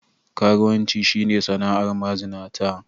Karuwanci shi ne sana'ar mazinata.